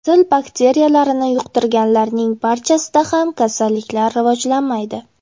Sil bakteriyalarini yuqtirganlarning barchasida ham kasallik rivojlanmaydi.